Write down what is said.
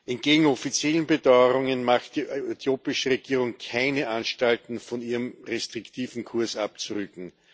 Entgegen offiziellen Beteuerungen macht die äthiopische Regierung keine Anstalten, von ihrem restriktiven Kurs abzurücken.